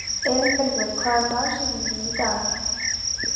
Elínbergur, hver er dagsetningin í dag?